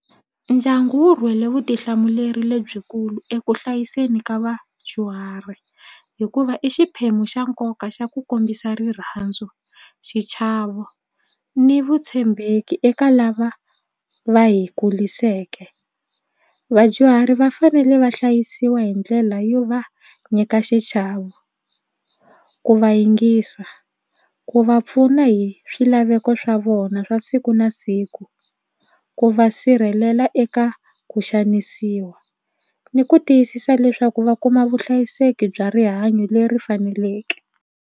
Ndyangu wu rhwele vutihlamuleri lebyikulu eku hlayiseni ka vadyuhari hikuva i xiphemu xa nkoka xa ku kombisa rirhandzu xichavo ni vutshembeki eka lava va hi kulisiweke. Vadyuhari va fanele va hlayisiwa hi ndlela yo va nyika xichavo ku va yingisa ku va pfuna hi swilaveko swa vona swa siku na siku ku va sirhelela eka ku xanisiwa ni ku tiyisisa leswaku va kuma vuhlayiseki bya rihanyo leri faneleke.